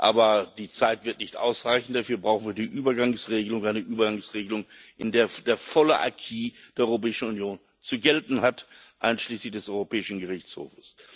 Aber die Zeit wird nicht ausreichen, dafür brauchen wir die Übergangsregelung eine Übergangsregelung, in der der volle Acquis der Europäischen Union zu gelten hat, einschließlich des Europäischen Gerichtshofs.